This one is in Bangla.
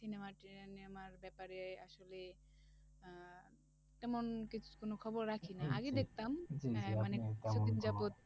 cinema টিনেমার ব্যাপারে আসলে আহ তেমন কিছু কোন খবর রাখি না আগে দেখতাম, মানে কিছুদিন যাবৎ